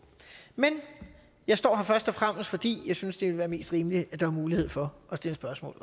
men jeg står her og først og fremmest fordi jeg synes det vil være mest rimeligt at der også er mulighed for at stille spørgsmål